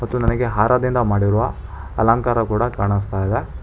ಇದು ನನಗೆ ಹಾರದಿಂದ ಮಾಡಿರುವ ಅಲಂಕಾರ ಕೂಡ ಕಾಣಸ್ತಾಇದೆ.